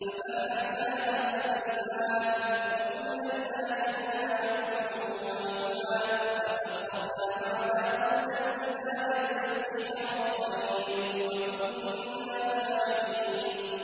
فَفَهَّمْنَاهَا سُلَيْمَانَ ۚ وَكُلًّا آتَيْنَا حُكْمًا وَعِلْمًا ۚ وَسَخَّرْنَا مَعَ دَاوُودَ الْجِبَالَ يُسَبِّحْنَ وَالطَّيْرَ ۚ وَكُنَّا فَاعِلِينَ